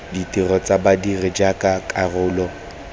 ditiro tsa badiri jaaka karolo